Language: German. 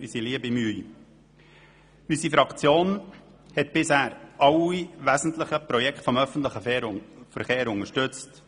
Unsere Fraktion hat bisher alle wesentlichen Projekte des öffentlichen Verkehrs unterstützt: